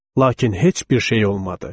Lakin heç bir şey olmadı.